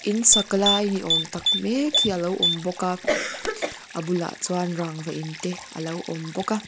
in sak lai ni awm tak mek hi alo awm bawk a a bulah chuan rangva in te alo awm bawk a.